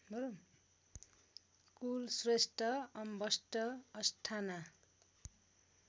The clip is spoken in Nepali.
कुलश्रेष्ठ अम्बष्ठ अष्ठाना